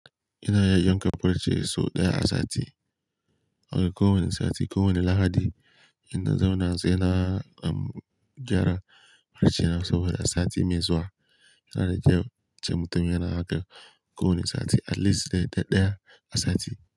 Ina iya yanka far ce sau ɗaya a sati, a ko wane sati, ko wane Lahadi. Ina zauna sai na gyara farcena sau biyu a sati mai zuwa. Sana jiya ce mutumin yana aiki kowane sati at least dai ɗaya a sati.